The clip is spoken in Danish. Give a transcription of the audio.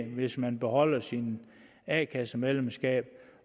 hvis man beholder sit a kasse medlemskab